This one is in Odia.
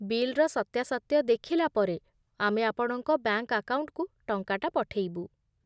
ବିଲ୍‌ର ସତ୍ୟାସତ୍ୟ ଦେଖିଲା ପରେ, ଆମେ ଆପଣଙ୍କ ବ୍ୟାଙ୍କ୍ ଆକାଉଣ୍ଟକୁ ଟଙ୍କାଟା ପଠେଇବୁ ।